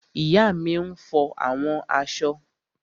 Ìyá mi n fọ àwọn aṣọ